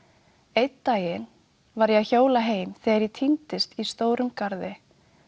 einn daginn var ég að hjóla heim þegar ég týndist í stórum garði